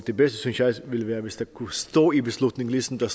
det bedste synes jeg ville være hvis der kunne stå i beslutningen ligesom der